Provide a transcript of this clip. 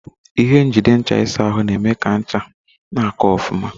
Ihe njide ncha ịsa ahụ na-eme ka ncha na-aka ofuma.